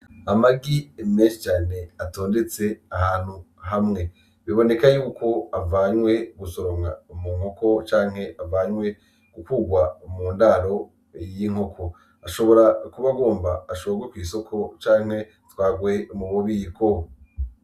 Amag i emeshi cane atondetse ahantu hamwe biboneka yuko avanywe gusoromwa umu nkoko canke avanywe gukwurwa umu ndaro y'inkoko ashobora kuba agomba ashobrwe kw'isoko canke twagwee umubobiko.